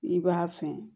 I b'a fɛn